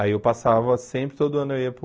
Aí eu passava, sempre, todo ano eu ia para o...